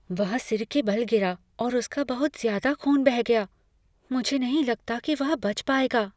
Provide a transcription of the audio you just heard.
वह सिर के बल गिरा और उसका बहुत ज्यादा ख़ून बह गया। मुझे नहीं लगता कि वह बच पाएगा।